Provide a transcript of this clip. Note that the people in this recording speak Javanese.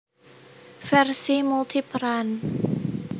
Versi multiperan